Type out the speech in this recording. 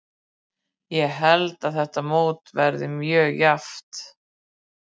Ég held að þetta mót verði mjög jafnt.